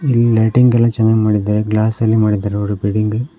ಇಲ್ಲಿ ಲೈಟಿಂಗ್ ಎಲ್ಲಾ ಚೆನ್ನಾಗ್ ಮಾಡಿದ್ದಾರೆ ಗ್ಲಾಸ್ ಅಲ್ಲಿ ಮಾಡಿದ್ದಾರೆ ಇವರು ಬಿಲ್ಡಿಂಗ್ --